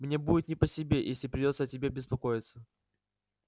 мне будет не по себе если придётся о тебе беспокоиться